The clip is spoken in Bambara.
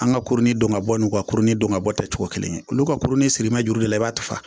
An ka kurunin dɔn ka bɔ n'u ka kurunin dɔn ka bɔ ta cogo kelen olu ka kurunin sirima juru de la i b'a ta